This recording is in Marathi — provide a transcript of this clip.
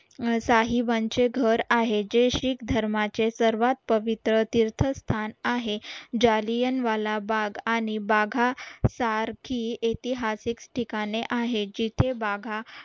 साहेबांचे घर आहे जे सिख धर्माचे सर्वात पवित्र तीर्थस्थान आहे जालियनवाला बाग आणि बाघा सारखी ऐतिहासिक ठिकाणे आहे जिथे बाघा